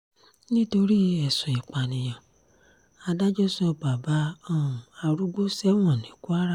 nítorí ẹ̀sùn ìpànìyàn adájọ́ sọ bàbá um arúgbó sẹ́wọ̀n ní kwara